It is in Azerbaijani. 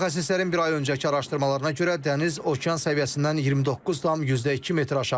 Mütəxəssislərin bir ay öncəki araşdırmalarına görə dəniz okean səviyyəsindən 29,2 metr aşağıdır.